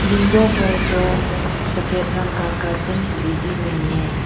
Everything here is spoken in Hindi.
विंडो पर दो सफेद रंग का कर्टंस भी दिख रहे है।